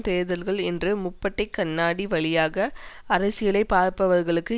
தேர்தல்கள் என்ற முப்பட்டைக் கண்ணாடி வழியாக அரசியலை பார்ப்பவர்களுக்கு